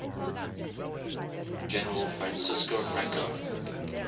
general francisco franco